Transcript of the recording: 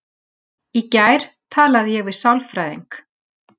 Í gær talaði ég við sálfræðing.